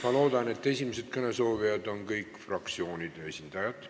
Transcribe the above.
Ma loodan, et esimesed kõnesoovijad on kõik fraktsioonide esindajad.